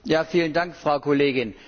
Vielen Dank, Frau Kollegin!